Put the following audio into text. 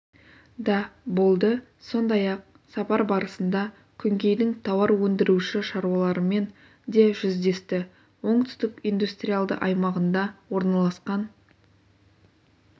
да болды сондай-ақ сапар барысында күнгейдің тауар өндіруші шаруаларымен де жүздесті оңтүстік индустриалды аймағында орналасқан